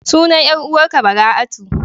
Sunan 'yar uwar ka Bara'atu.